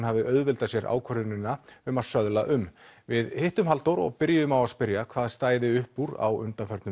hafi auðveldað sér ákvörðunina um að söðla um við hittum Halldór og byrjuðum á að spyrja hvað stæði upp úr á